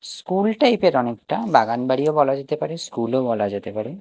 School type -এর অনেকটা বাগানবাড়িও বলা যেতে পারে স্কুলও বলা যেতে পারে।